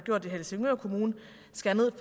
skrevet